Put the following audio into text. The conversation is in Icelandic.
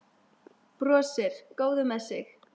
Brosir, góður með sig.